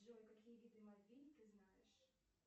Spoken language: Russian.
джой какие виды мобиль ты знаешь